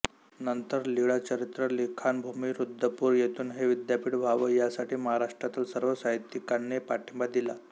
नंतर लीळाचरित्र लिखाण भूमी रुद्धपुर येथून हे विद्यपीठ व्हावं यासाठी महाराष्ट्र्तील सर्व साहित्यिकांनी पाठिंबा दिला